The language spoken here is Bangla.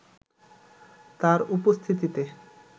তার উপস্থিতিতে